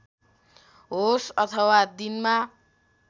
होस् अथवा दिनमा